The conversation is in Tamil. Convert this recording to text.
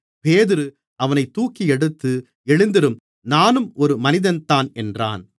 பேதுரு அவனைத் தூக்கியெடுத்து எழுந்திரும் நானும் ஒரு மனிதன்தான் என்றான்